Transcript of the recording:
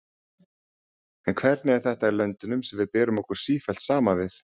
En hvernig er þetta í löndunum sem við berum okkur sífellt saman við?